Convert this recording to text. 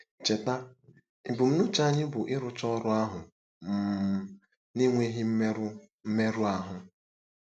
Cheta, ebumnuche anyị bụ ịrụcha ọrụ ahụ um n'enweghị mmerụ mmerụ ahụ.